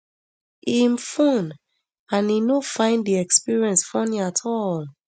im fone and e e no find di experience funny at all